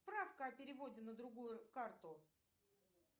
справка о переводе на другую карту